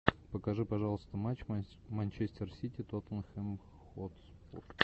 покажи пожалуйста матч манчестер сити тоттенхэм хотспур